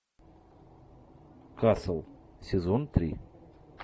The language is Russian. касл сезон три